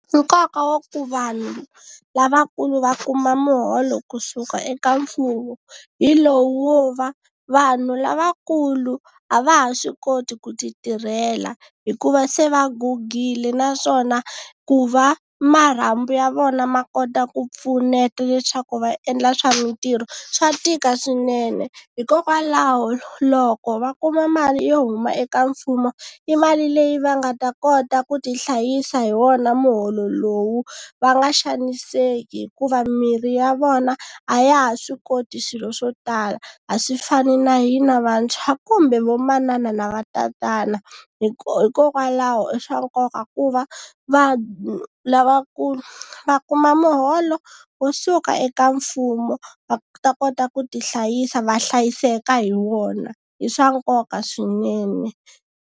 Nkoka wa ku vanhu lavakulu va kuma muholo kusuka eka mfumo hi lowu wo va vanhu lavakulu a va ha swi koti ku ti tirhela hikuva se va gugile naswona ku va marhambu ya vona ma kota ku pfuneta leswaku va endla swa mitirho swa tika swinene. Hikokwalaho loko va kuma mali yo huma eka mfumo i mali leyi va nga ta kota ku tihlayisa hi wona muholo lowu va nga xaniseki hikuva mirhi ya vona a ya ha swi koti swilo swo tala. A swi fani na hina vantshwa kumbe vo manana na va tatana hikokwalaho i swa nkoka ku ku va lavakulu va kuma muholo wo suka eka mfumo va ta kota ku tihlayisa va hlayiseka hi wona i swa nkoka swinene.